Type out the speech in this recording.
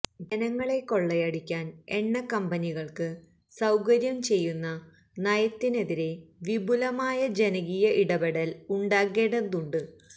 ജനങ്ങളെ കൊള്ളയടിക്കാന് എണ്ണക്കമ്പനികള്ക്ക് സൌകര്യംചെയ്യുന്ന നയത്തിനെതിരെ വിപുലമായ ജനകീയ ഇടപെടല് ഉണ്ടാകേണ്ടതുണ്ട്